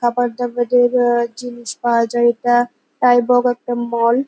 খাবার দাবারের আ্যাআ্যাআ্যা জিনিস পাওয়া যায় এটা। পায় বগ একটা মল ।